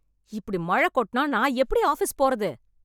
இப்டி மழ கொட்னா நான் எப்டி ஆஃபிஸ் போறது?